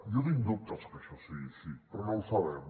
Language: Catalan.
jo tinc dubtes que això sigui així però no ho sabem